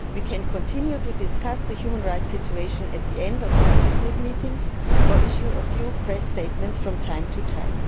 We can continue to discuss the human rights situation at the end of our business meetings, or issue a few press statements from time to time.